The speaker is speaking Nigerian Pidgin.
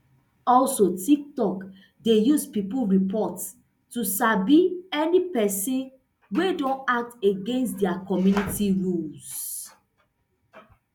also tiktok dey use pipo reports to sabi any pesin wey don act against dia community rules